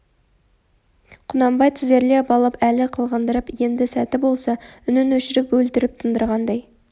құнанбай тізерлеп алып әлі қылғындырып енді сәті болса үнін өшіріп өлтіріп тындырғандай